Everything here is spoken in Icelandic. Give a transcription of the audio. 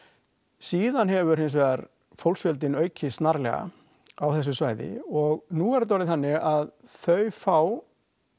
síðan hefur hinsvegar fólksfjöldinn aukist snarlega á þessu svæði og nú er þetta orðið þannig að þau fá